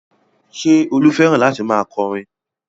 Ṣé Olú fẹ́ràn láti máa kọ orin?